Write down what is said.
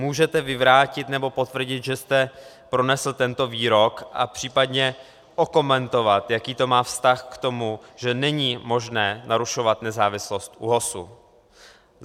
Můžete vyvrátit, nebo potvrdit, že jste pronesl tento výrok, a případně okomentovat, jaký to má vztah k tomu, že není možné narušovat nezávislost ÚOHSu?